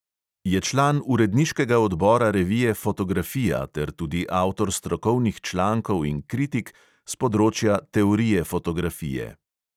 Je član uredniškega odbora revije fotografija ter tudi avtor strokovnih člankov in kritik s področja teorije fotografije.